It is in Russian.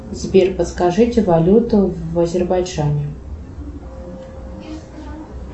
сбер подскажите валюту в азербайджане